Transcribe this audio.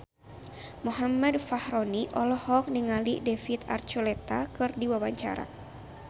Muhammad Fachroni olohok ningali David Archuletta keur diwawancara